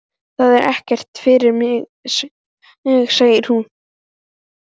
Það er ekkert fyrir mig, segir hún.